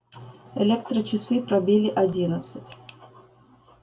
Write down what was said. электрочасы пробили одиннадцать